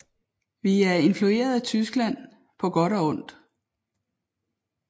Vi er influeret af Tyskland på godt og på ondt